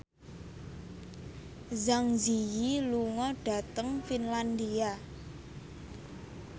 Zang Zi Yi lunga dhateng Finlandia